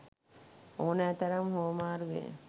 ඕනෑතරම් හුවමාරු වේ